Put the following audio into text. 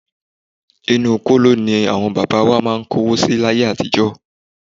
Inú kóló ní àwọn bàbá wa máà ń kówó si láyé àtijọ́.